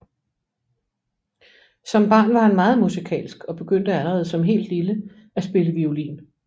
Som barn var han meget musikalsk og begyndte allerede som helt lille at spille violin